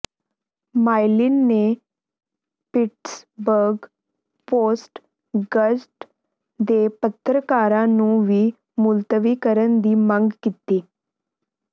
Mylan ਨੇ Pittsburgh Post Gazette ਦੇ ਪੱਤਰਕਾਰਾਂ ਨੂੰ ਵੀ ਮੁਲਤਵੀ ਕਰਨ ਦੀ ਮੰਗ ਕੀਤੀ